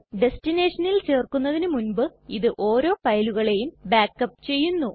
ടെസ്ടിനെഷനിൽ ചേര്ക്കുന്നതിന് മുൻപ് ഇത് ഓരോ ഫയലുകളെയും ബാക്ക് അപ്പ് ചെയ്യുന്നു